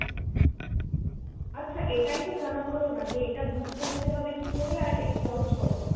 আচ্ছা এটাইতো জানা হলো না যে এটা book করতে হবে কি করে আর এর খরচ কত?